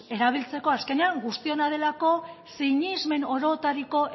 erabiltzeko azkenean guztiona delako sinesmen orotariko